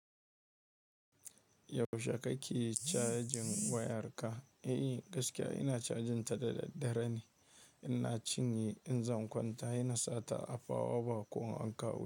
Yaushe kake cajin wayarka? Eh gaskiya ina cajin ta da daddare ne. Ina cinye in zan kwanta, ina sata a fawa bank ko in an kawo.